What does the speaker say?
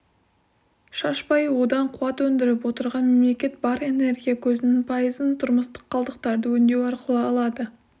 шашпай одан қуат өндіріп отырған мемлекет бар энергия көзінің пайызын тұрмыстық қалдықтарды өңдеу арқылы алады